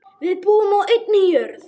Við búum á einni jörð.